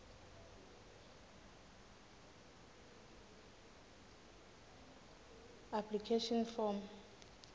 application form